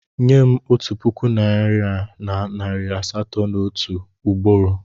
Nye m otu puku naịra na nari asatọ m otu ugboro!